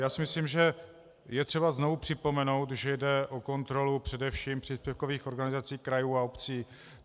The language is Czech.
Já si myslím, že je třeba znovu připomenout, že jde o kontrolu především příspěvkových organizací krajů a obcí.